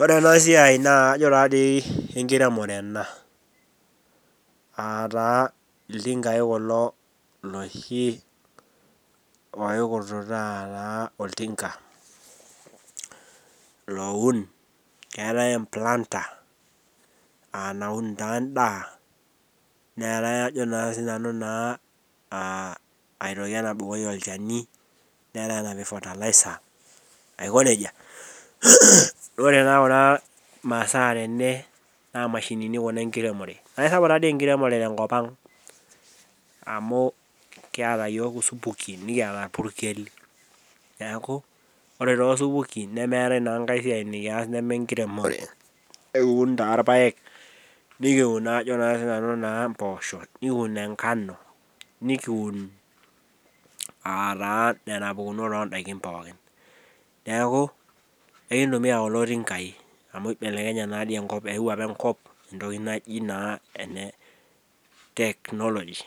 Ore ana siai naa ajo taa dei enkiremore ena, ataa iltingai kulo loshi oikurtutaa naa oltinka loun, keatae implanta aanaun taa indaa neatae ajo naa sii nanu naa aitoki enabukoki ilcheni, neatae napik fertilizer aikoneja. Ore taata masaa tene naa imashinini kuna enkiremore. Atasham taa dei enkiremore te nkopang amu kieta yook osupukin, nikieta olpurkel, neaku ore too supukin nemeetae naa enkae siai nikiyas nemee enkiremore, ekiun taa irpaek, nikun naa ajo naa sii nanu naa imposho nikiun enkano, nikiun aataa nena impukunot oondaki pookin.,neaku ekintumiya kulo tinkai amu eibelekenye naa dei enkop, eewuo apa enkop entoki naji naa ene teknoloji.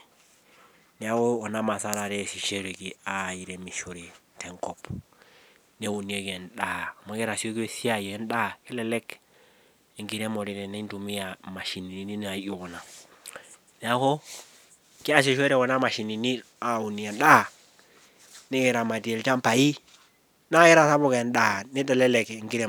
Neaku kuna masaa taata eremishoreki aaremishore tenkop, neunieki endaa amu keitasioki esiaI endaa, kelelek enkiremore tenintumiyaa imashinini naijo kuna. Neaku kiasishore kuna imashinini aunie endaa nikiramatie ilchambai, naa keitasapuk endaa neitelelek enkiremore.